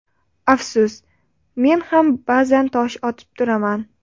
Afsus men ham ba’zan tosh otib turaman.